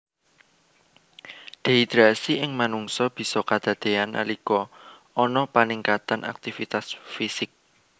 Dehidrasi ing manungsa bisa kedadéyan nalika ana paningkatan aktivitas fisik